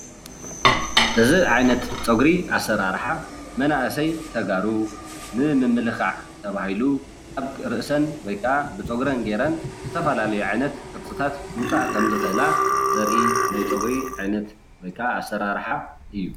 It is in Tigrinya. እዚ ዓይነት ፀጉሪ ኣሰራርሓ መናእሰይ ተጋሩ ንምምልካዕ ተባሂሉ ኣብ ርእሰን ወይክዓ ብፀጉረን ጌረን ዝተፈላለዩ ዓይነት ቅርፅታት ምውፃእ ከም ዝክእላ ዘርኢ ናይ ፀጉሪ ዓይነት ወይ ክዓ ኣሰራርሓ እዩ፡፡